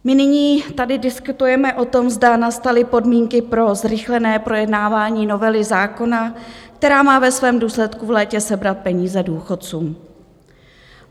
My nyní tady diskutujeme o tom, zda nastaly podmínky pro zrychlené projednávání novely zákona, která má ve svém důsledku v létě sebrat peníze důchodcům.